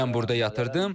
Mən burda yatırdım.